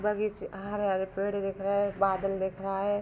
बगीचे हरा - हरा पेड़ दिख रहा है। बादल दिख रहा है।